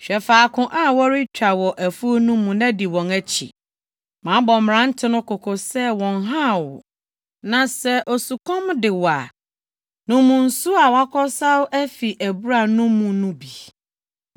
Hwɛ faako a wɔretwa wɔ afuw no mu na di wɔn akyi. Mabɔ mmerante no kɔkɔ sɛ wɔnnhaw wo. Na sɛ osukɔm de wo a, nom nsu a wɔakɔsaw afi abura no mu no bi.”